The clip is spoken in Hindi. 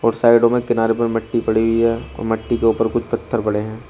और साइडों में किनारे पर मिट्टी पड़ी हुई है और मट्टी के ऊपर कुछ पत्थर पड़े हैं।